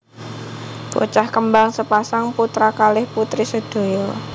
Bocah kembang sepasang putra kalih putri sedaya